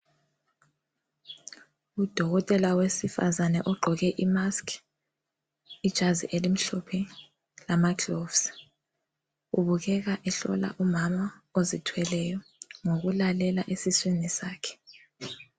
Udokotele wesifazana ogqoke imask, ijazi elimhlophe lamagloves, ubukeka ehlola umama ozithweleyo ngokulalela esiswini sakhe.